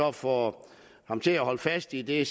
og få ham til at holde fast i det